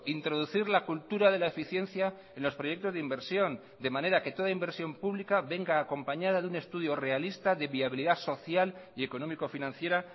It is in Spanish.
introducir la cultura de la eficiencia en los proyectos de inversión de manera que toda inversión pública venga acompañada de un estudio realista de viabilidad social y económico financiera